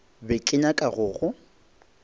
be ke nyaka go go